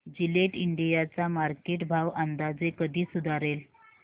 Gillette India चा market भाव अंदाजे कधी सुधारेल